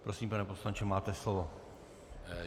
Prosím, pane poslanče, máte slovo.